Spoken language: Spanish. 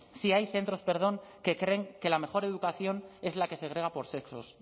si hay centros perdón que creen que la mejor educación es la que segrega por sexos